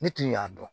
Ne tun y'a dɔn